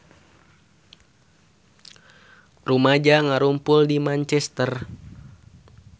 Rumaja ngarumpul di Manchester